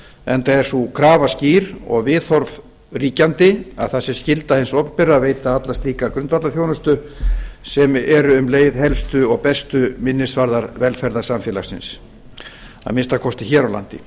enda er sú krafa skýr og viðhorf ríkjandi að það sé skylda hins opinbera að veita alla slíka grundvallarþjónustu sem eru um leið helstu og bestu minnisvarðar samfélagsins að minnsta kosti hér á landi